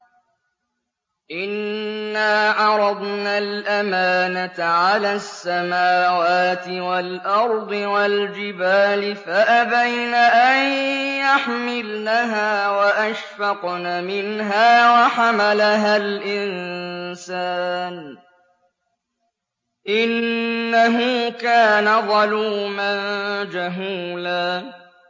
إِنَّا عَرَضْنَا الْأَمَانَةَ عَلَى السَّمَاوَاتِ وَالْأَرْضِ وَالْجِبَالِ فَأَبَيْنَ أَن يَحْمِلْنَهَا وَأَشْفَقْنَ مِنْهَا وَحَمَلَهَا الْإِنسَانُ ۖ إِنَّهُ كَانَ ظَلُومًا جَهُولًا